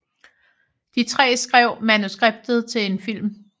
De tre skrev manuskriptet til en film